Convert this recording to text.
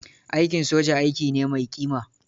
Aikin soja, aiki ne mai ƙima.